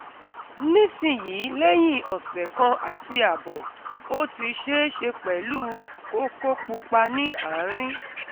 nisin yi leyin ose kan ati abo, o ti isese pelu koko pupa ni arin